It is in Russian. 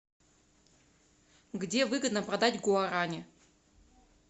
где выгодно продать гуарани